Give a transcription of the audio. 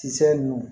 Kisɛ ninnu